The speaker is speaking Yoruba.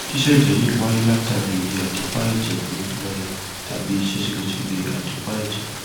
ṣíṣẹjẹ yìí wáyé látàrí iye adèépá ẹjẹ tó lọọlẹ tàbí ìṣe ségesège adèépá èjè